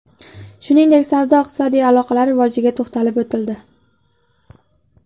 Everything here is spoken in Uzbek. Shuningdek, savdo-iqtisodiy aloqalar rivojiga to‘xtalib o‘tildi.